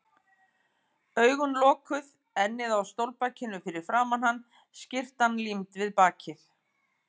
Augun lokuð, ennið á stólbakinu fyrir framan hann, skyrtan límd við bakið.